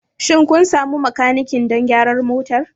Shin kun sami makaniki don gyara motar?